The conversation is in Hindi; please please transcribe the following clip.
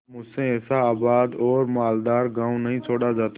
अब मुझसे ऐसा आबाद और मालदार गॉँव नहीं छोड़ा जाता